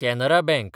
Canara bank